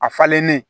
A falennen